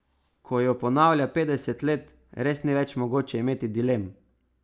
Ko jo ponavlja petdeset let, res ni več mogoče imeti dilem.